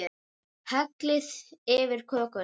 Hellið yfir kökuna.